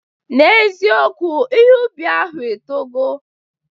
N'eziokwu, ihe ubi ahụ etogo